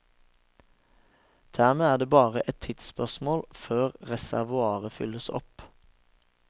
Dermed er det bare et tidsspørsmål før reservoaret fylles opp.